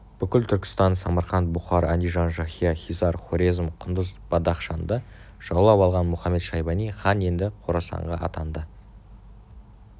бүкіл түркістан самарқант бұқар андижан шахия хизар хорезм құндыз бадахшанды жаулап алған мұхамед-шайбани хан енді қорасанға аттанды